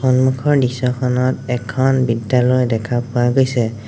সন্মুখৰ দৃশ্যখনত এখন বিদ্যালয় দেখা পোৱা গৈছে।